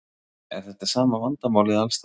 Er þetta sama vandamálið alls staðar?